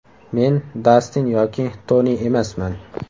Men Dastin yoki Toni emasman.